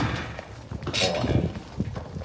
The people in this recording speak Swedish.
AM